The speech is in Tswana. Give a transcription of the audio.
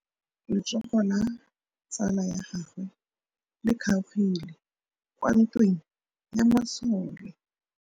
Letsôgô la tsala ya gagwe le kgaogile kwa ntweng ya masole.